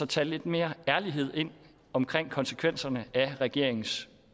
tage lidt mere ærlighed ind omkring konsekvenserne af regeringens